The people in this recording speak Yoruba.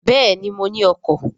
Béèni, mo ní ọkọ̀